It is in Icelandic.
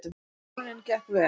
Söfnunin gekk vel